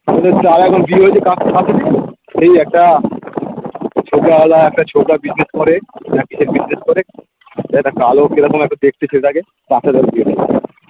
সেই একটা ছবি আলাদা একটা business করে business করে একটা কালো কিরকম একটা দেখতে ছেলেটাকে তার সাথে ওর বিয়ে দেবে